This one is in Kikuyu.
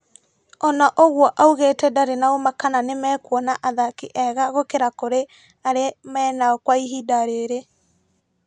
Ona ũguo augĩte ndari na ũma kana nĩmakuona athaki ega gũkĩra kũrĩ arĩ menao kwa ihinda rĩrĩ.